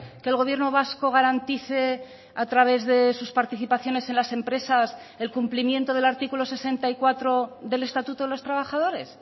que el gobierno vasco garantice a través de sus participaciones en las empresas el cumplimiento del artículo sesenta y cuatro del estatuto de los trabajadores